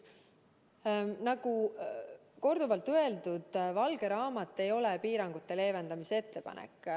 Nagu korduvalt öeldud, valge raamat ei ole piirangute leevendamise ettepanek.